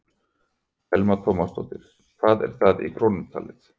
Telma Tómasson: Hvað er það í krónum talið?